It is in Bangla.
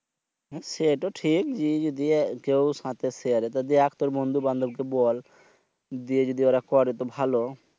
সেটু ঠিক যে যদি কেউ সাথে Share থাকে দেখ তুর বন্ধু বান্ধব কে বল দিয়ে যদি ওরা করে তো ভালো।